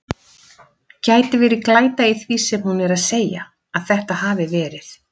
Gæti verið glæta í því sem hún er að segja. að þetta hafi verið.